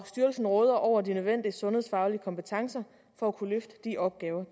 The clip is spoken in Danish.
styrelsen råder over de nødvendige sundhedsfaglige kompetencer for at kunne løfte de opgaver